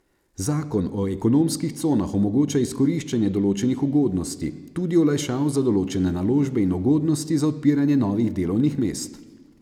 Zakon o ekonomskih conah omogoča izkoriščanje določenih ugodnosti, tudi olajšav za določene naložbe in ugodnosti za odpiranje novih delovnih mest.